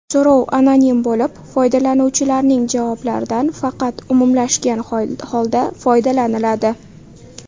So‘rov anonim bo‘lib, foydalanuvchilarning javoblaridan faqat umumlashgan holda foydalaniladi.